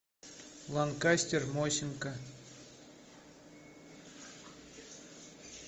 ланкастер мосинка